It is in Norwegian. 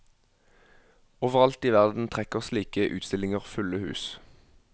Overalt i verden trekker slike utstillinger fulle hus.